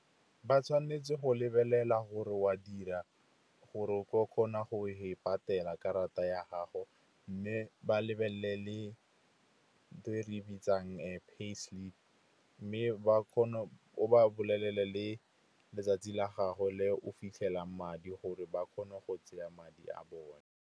Ba tshwanetse go lebelela gore wa dira gore o tlo kgona go e patela karata ya gago. Mme ba lebelele ntho e re e bitsang pay slip, mme o bolelele le letsatsi la gago le o fitlhelang madi gore ba kgone go tseya madi a bone.